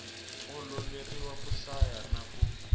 oloveriwa ku hlaya na ku